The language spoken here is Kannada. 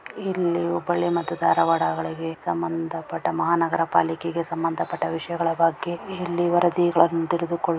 ಇಲ್ಲಿ ಹುಬ್ಬಳ್ಳಿ ಮತ್ತು ಧಾರಾವಾಡಗಳಿಗೆ ಸಂಬಂಧಪಟ್ಟ ಮಹಾನಗರಪಾಲಿಕೆಗೆ ಸಂಬಂಧಪಟ್ಟ ವಿಷಯಗಳ ಬಗ್ಗೆ ಇಲ್ಲಿ ವರದಿಗಳನ್ನು ತೆಗೆದುಕೊಳ್ಳು --